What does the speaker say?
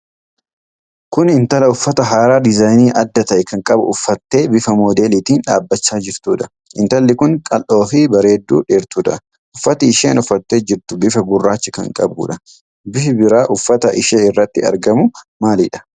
Kun intala uffata haaraa diizaayinii adda ta'e qabu uffattee bifa moodeelitiin dhaabachaa jirtuudha. Intalli kun qal'oo fi bareedduu dheertuudha. Uffati isheen uffattee jirtu bifa gurraacha kan qabuudha. Bifi biraa uffata ishee irratti argamu maalidha?